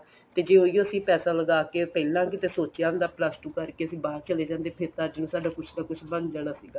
ਤੇ ਜੇ ਉਹੀ ਓ ਅਸੀਂ ਪੈਸਾ ਲਗਾ ਕੇ ਪਹਿਲਾਂ ਕਿਤੇ ਸੋਚਿਆ ਹੁੰਦਾ plus two ਕਰਕੇ ਅਸੀਂ ਬਾਹਰ ਚਲੇ ਜਾਂਦੇ ਫੇਰ ਤਾਂ ਸਾਡਾ ਕੁੱਝ ਨਾ ਕੁੱਝ ਬਣ ਜਾਣਾ ਸੀਗਾ